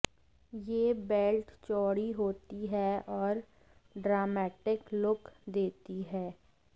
ये बेल्ट चौड़ी होती हैं और ड्रामैटिक लुक देती हैं